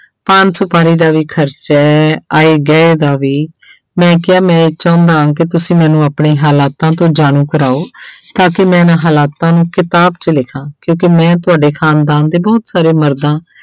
ਪਾਨ ਸੁਪਾਰੀ ਦਾ ਵੀ ਖ਼ਰਚਾ ਹੈ, ਆਏ ਗਏ ਦਾ ਵੀ ਮੈਂ ਕਿਹਾ ਮੈਂ ਚਾਹੁੰਦਾ ਹਾਂ ਕਿ ਤੁਸੀਂ ਮੈਨੂੰ ਆਪਣੇ ਹਾਲਾਤਾਂ ਤੋਂ ਜਾਣੂ ਕਰਵਾਓ ਤਾਂ ਕਿ ਮੈਂ ਇਹਨਾਂ ਹਾਲਾਤਾਂ ਨੂੰ ਕਿਤਾਬ 'ਚ ਲਿਖਾਂ ਕਿਉਂਕਿ ਮੈਂ ਤੁਹਾਡੇ ਖ਼ਾਨਦਾਨ ਦੇ ਬਹੁਤ ਸਾਰੇ ਮਰਦਾਂ